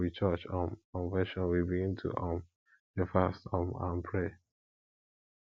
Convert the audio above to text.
na for we church um convention we begin to um dey fast um and pray